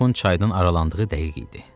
Rokovun çaydan aralandığı dəqiq idi.